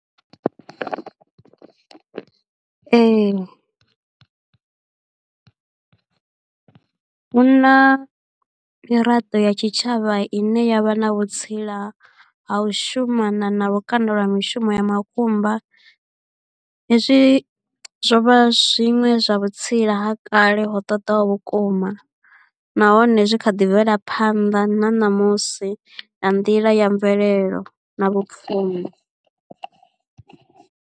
Ee, hu na miraḓo ya tshitshavha i ne ya vha na vhutsila ha u shuma na na lukanda lwa mishumo ya makumba hezwi zwo vha zwiṅwe zwa vhutsila ha kale ho ṱoḓaho vhukuma nahone zwi kha ḓi bvela phanḓa na ṋamusi nga nḓila ya mvelelo na vhupfumi.